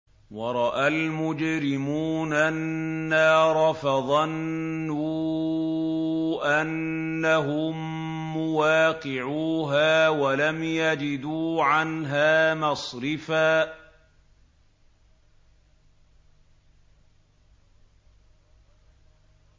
وَرَأَى الْمُجْرِمُونَ النَّارَ فَظَنُّوا أَنَّهُم مُّوَاقِعُوهَا وَلَمْ يَجِدُوا عَنْهَا مَصْرِفًا